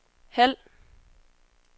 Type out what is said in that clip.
halv